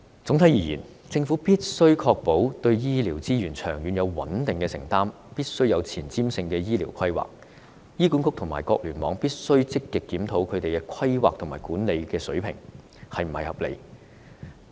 總體而言，政府必須確保對醫療資源有長遠而穩定的承擔、必須有前瞻性的醫療規劃，醫管局及各聯網也必須積極檢討規劃及管理水平是否合理。